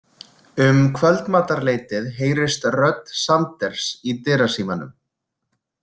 Um kvöldmatarleytið heyrist rödd Sanders í dyrasímanum.